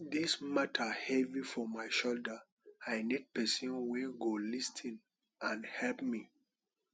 dis mata heavy for my shoulder i need pesin wey go lis ten and help me